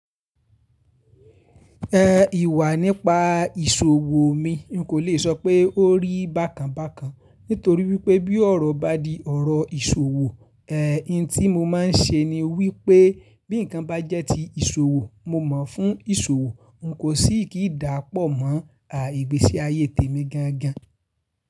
E, ìwà nípa ìṣòwò mi, n kò le sọ pé ó rí bàkànàbàkàn nítorí wípé bí ọ̀rọ̀ bá di ọ̀rọ̀ ìṣòwò, e, ohun tí mo máa ń ṣe ni wípé bí ǹkan bá jẹ́ ti ìṣòwò mo mọ̀ fún ìṣòwò n kò sì kí dà pọ̀ mọ́ àìgbésí ayé tèmi gangan.